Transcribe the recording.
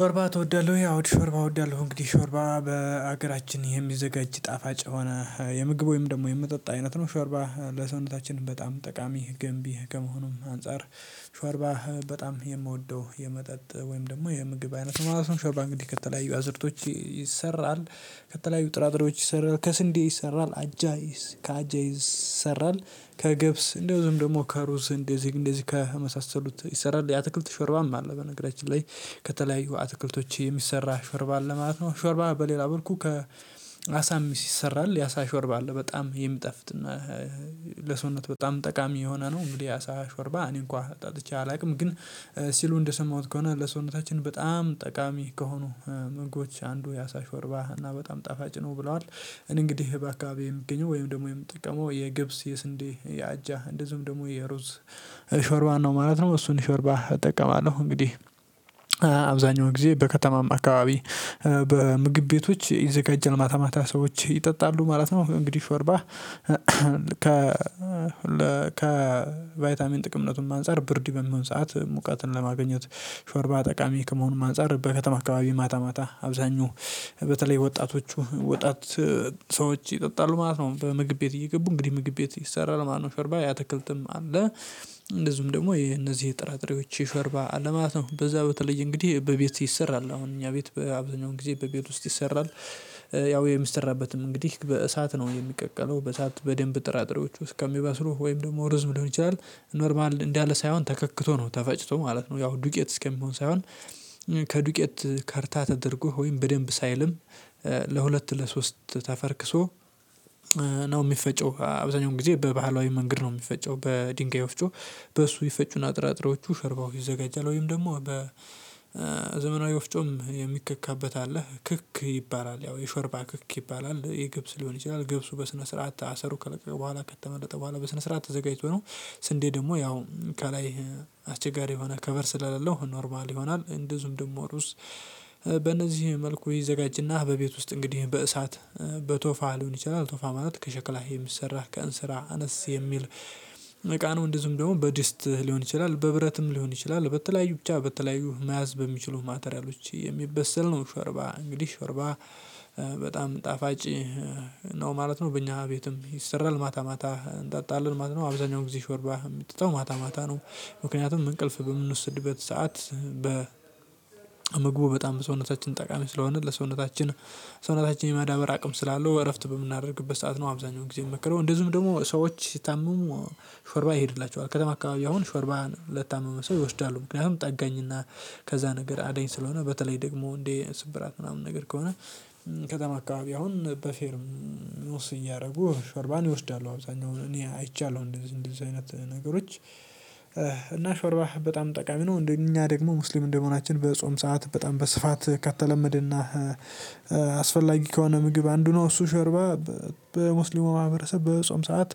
ሾርባ ትወዳለህ ወይ? አው ሾርባ እወዳለሁ እንግዲህ ሾርባ በሀገራችን የሚዘጋጅ ጣፋጭ የሆነ የምግብ ወይም ደግሞ የመጠጣ አይነት ነው። ሾርባ ለሰውነታችን በጣም ጠቃሚ ገንቢ ከመሆኑም አንፃር። ሾርባ በጣም የምወደው የመጠጥ ወይም ደግሞ የምግብ አይነት ማለት ነው። ሸርባ እንግዲህ ከተለያዩ አዝርቶች ይሰራል። ከተለያዩ ጥራጥሬዎች ይሰራል ከስንዴ ይሰራል አጃይስ ከአጃይስ ይሰራል ከገብስ እንደዚም ደግሞ ከሩዝ እንደዚህ እንደዚህ ከመሳሰሉት ይሰራል የአትክልት ሾርባም አለ። በነገራችን ላይ ከተለያዩ አትክልቶች የሚሰራ ሾርባ አለ ማለት ነው። ሾርብ በሌላ በልኩ ከ አሳ ሚስ ይሰራል የአሳ ሾርብ አለ በጣም የሚጣፍጥ እና ለሰውነት በጣም ጠቃሚ የሆነ ነው። እንግዲህ አሳ ሾርባ እኔ እንኳን ጠጥቼ አላውቅም ግን ሲሉ እንደሰማሁት ከሆነ ለሰውነታችን በጣም ጠቃሚ ከሆኑ ምግቦች አንዱ የአሳ ሾርባ እና በጣም ጣፋጭ ነው ብለዋል። እኔ እንግዲህ በአካባቢው የሚገኘው ወይም ደግሞ የምጠቀመው የገብስ የስንዴ የአጃ እንደዚሁም ደግሞ የሩዝ ሾርባ ነው ማለት ነው። እሱን ሾርባ እጠቀማለሁ እንግዲህ። አብዛኛው ጊዜ በከተማም አካባቢ በምግብ ቤቶች ይዘጋጃል ማታ ማታ ሰዎች ይጠጣሉ ማለት ነው። እንግዲህ ሾርባ ከ ከቫይታሚን ጥቅምነቱም አንፃር ብርድ በሚሆን ሰዓት ሙቀትን ለማግኘት ሾርባ ጠቃሚ ከመሆኑም አንፃር በከተማ አካባቢ ማታ ማታ አብዛኛው በተለይ ወጣቶቹ ወጣት ሰዎች ይጠጣሉ ማለት ነው። በምግብ ቤት እየገቡ እንግዲህ ምግብ ቤት ይሰራል ማነው ሸርባ የአተክልትም አለ። እንደዚሁም ደግሞ የነዚህ የጥራጥሬዎች የሾርባ አለ ማለት ነው በዛ በተለይ እንግዲህ በቤት ይሰራል አሁን እኛ ቤት በአብዛኛው ጊዜ በቤት ውስጥ ይሰራል። ያው የሚሰራበትም እንግዲህ በእሳት ነው የሚቀቀለው በእሳት በደንብ ጥራጥሬዎች እስከ ሚበስሉ ወይም ደግሞ ሩዝም ሊሆን ይችላል። ኖርማል እንዳለ ሳይሆን ተከክቶ ነው ተፈጭቶ ማለት ነው። ያው ዱቄት እስከሚሆን ሳይሆን ከዱቄት ከርታ ተደርጎ ወይም በደንብ ሳይልም ለሁለት ለሶስት ተፈርክሶ ነው የሚፈጨው። አብዛኛውን ጊዜ በባህላዊ መንገድ ነው የሚፈጨው በድንጋይ ወፍጮ በሱ ይፈጩና ጥራጥሬዎቹ ሸርባው ይዘጋጃል። ወይም ደግሞ በዘመናዊ ወፍጮም የሚከካበት አለ ክክ ይባላል ያው የሾርባ ክክ ይባላል። የገብስ ሊሆን ይችላል ገብሱ በስነ ስርዓት አሰሩ ከለቀቀ በኋላ ከተመለጠ በኋላ በስነ ስርዓት ተዘጋጅቶ ነው። ስንዴ ደግሞ ያው ከላይ አስቸጋሪ የሆነ ከቨር ስለሌለው ኖርማል ይሆናል እንደዚውም ደሞ ሩዝ በእነዚህ መልኩ ይዘጋጅና በቤት ውስጥ እንግዲህ በእሳት በቶፋ ሊሆን ይችላል። ቶፋ ማለት ከሸክላህ የሚሰራ ከእንስራ አነስ የሚል እቃ ነው። እንድዚዉም ደግሞ በድስት ሊሆን ይችላል በብረትም ሊሆን ይችላል በተለያዩ ብቻ በተለያዩ መያዝ በሚችሉ ማቴሪያሎች የሚበሰል ነው። ሸርባ እንግዲህ ሸርባ በጣም ጣፋጭ ነው ማለት ነው። በእኛ ቤትም ይሰራል ማታ ማታ እንጣጣለን ማለት ነው አብዛኛው ጊዜ ሾርባ የምትጠጣው ማታ ማታ ነው። ምክንያቱም እንቅልፍ በምንወስድበት ሰዓት በ ምግቡ በጣም ሰውነታችን ጠቃሚ ስለሆነ ለሰውነታችን ሰውነታችን የማዳበር አቅም ስላለው እረፍት በምናደርግበት ሰዓት ነው አብዛኛው ጊዜ የሚመክረው እንደዚሁም ደግሞ ሰዎች ሲታመሙ ሾርባ ይሄድላቸዋል ከተማ አካባቢ አሁን ሾርባን ለታመመ ሰው ይወስዳሉ ምክንያቱም ጠጋኝና ከዛ ነገር አዳኝ ስለሆነ በተለይ ደግሞ እንደ ስብራት ምናምን ነገር ከሆነ። ከተማ አካባቢ አሁን በፌርሙስ እያደረጉ ሾርባን ይወስዳሉ አብዛኛው እኔ አይቻለሁ እንደዚህ እንደዚህ አይነት ነገሮች እና ሾርባ በጣም ጠቃሚ ነው። እንደ እኛ ደግሞ ሙስሊም እንደመሆናችን በጾም ሰዓት በጣም በስፋት ከተለመደና አስፈላጊ ከሆነ ምግብ አንዱ ነው እሱ ሸርባ በሙስሊሙ ማህበረሰብ በጾም ሰዓት